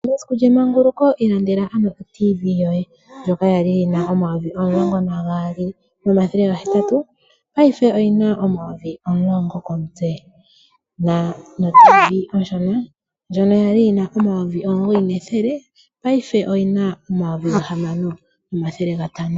Mesiku lyemanguluko ilandela ano otiivi yoye ndjoka ya li yi na omayovi omulongo nagaali nonethele gahetatu payife oyi na omayovi omulongo komutse oshowo otiivi oshona ndjono ya li yi na omayovi omugoyi nethele paife oyina omayovi gahamano nomathele gatano.